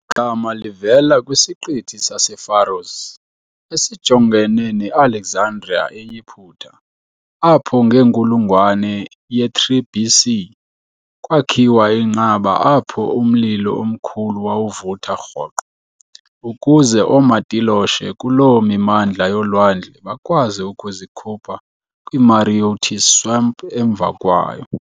Igama livela kwisiqithi sasePharos, esijongene ne-Alexandria eYiputa, apho ngenkulungwane ye-3 BC kwakhiwa inqaba apho umlilo omkhulu wawuvutha rhoqo, ukuze oomatiloshe kuloo mimandla yolwandle bakwazi ukuzikhupha kwi-Mareotis swamp emva kwayo.